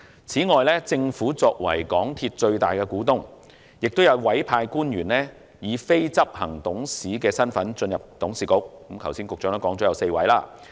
此外，政府作為港鐵公司的最大股東，亦有委派官員出任非執行董事，而局長剛才表示有4位。